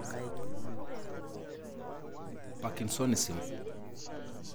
Parkinsonism.